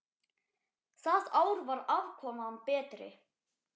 Það ár var afkoman betri.